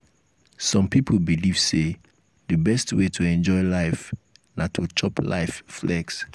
some pipo belive sey di best wey to enjoy life na to chop life flex